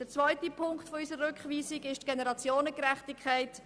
Der zweite Punkt unserer Rückweisung betrifft die Generationengerechtigkeit.